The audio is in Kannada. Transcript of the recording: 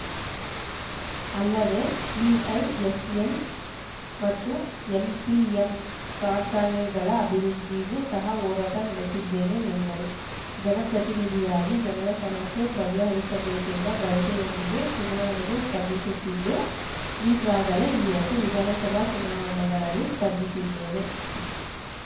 ಅಲ್ಲದೆ ವಿಐಎಸ್‌ಎಲ್‌ ಮತ್ತು ಎಂಪಿಎಂ ಕಾರ್ಖಾನೆಗಳ ಅಭಿವೃದ್ಧಿಗೂ ಸಹ ಹೋರಾಟ ನಡೆಸಿದ್ದೇನೆ ಎಂದರು ಜನಪ್ರತಿನಿಧಿಯಾಗಿ ಜನರ ಸಮಸ್ಯೆ ಬಗೆಹರಿಸಬೇಕೆಂಬ ಬಯಕೆಯೊಂದಿಗೆ ಚುನಾವಣೆಗೆ ಸ್ಪರ್ಧಿಸುತ್ತಿದ್ದು ಈಗಾಗಲೇ ಎರಡು ವಿಧಾನಸಭಾ ಚುನಾವಣೆಗಳಲ್ಲಿ ಸ್ಪರ್ಧಿಸಿದ್ದೇನೆ